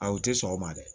A u tɛ sɔn o ma dɛ